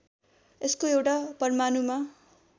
यसको एउटा परमाणुमा